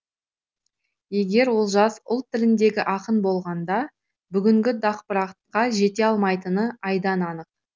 егер олжас ұлт тіліндегі ақын болғанда бүгінгі дақпыртқа жете алмайтыны айдан анық